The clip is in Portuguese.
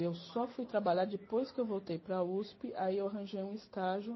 Eu só fui trabalhar depois que eu voltei para a usp, aí eu arranjei um estágio.